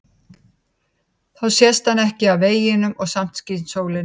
Þá sést hann ekki af veginum og samt skín sólin á hann.